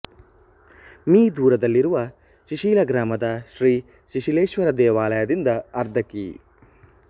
me ದೂರದಲ್ಲಿರುವ ಶಿಶಿಲ ಗ್ರಾಮದ ಶ್ರೀ ಶಿಶಿಲೇಶ್ವರ ದೇವಾಲಯದಿಂದ ಅರ್ಧ ಕಿ